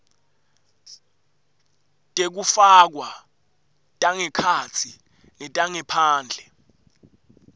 tekufakwa tangekhatsi netangephandle